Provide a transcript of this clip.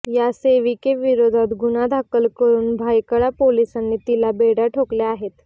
या सेविकेविरोधात गुन्हा दाखल करुन भायखळा पोलिसांनी तिला बेड्या ठोकल्या आहेत